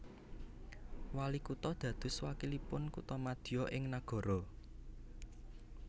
Walikutha dados wakilipun kuthamadya ing nagara